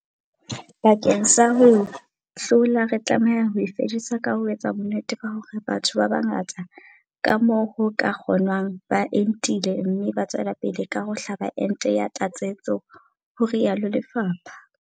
Bakeng sa ho e hlola, re tlameha ho e fedisa ka ho etsa bonnete ba hore batho ba bangata ka moo ho ka kgonwang ba entile mme ba tswela pele ka ho hlaba ente ya tlatsetso, ho rialo lefapha.